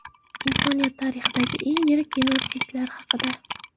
Insoniyat tarixidagi eng yirik genotsidlar haqida.